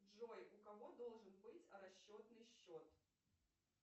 джой у кого должен быть расчетный счет